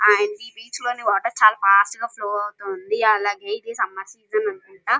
Hi అండి. ఈ beach లోని వాటర్ చాలా ఫాస్ట్ గా ఫ్లో అవుతుంది. అలాగే ఇది సమ్మర్ సీజన్ అనుకుంట.